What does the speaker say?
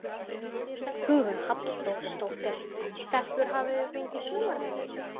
Hugrún Halldórsdóttir: Stelpur hafið þið fengið sumarvinnu?